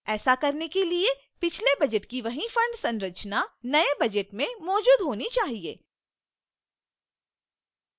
ऐसा करने के लिए पिछले budget की वही fund संरचना नए budget में मैजूद होनी चाहिए